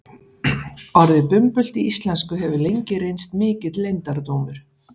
Orðið bumbult í íslensku hefur lengi reynst mikill leyndardómur.